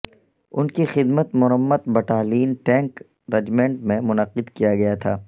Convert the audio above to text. ان کی خدمت مرمت بٹالین ٹینک رجمنٹ میں منعقد کیا گیا تھا